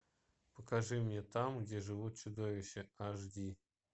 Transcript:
покажи мне там где живут чудовища аш ди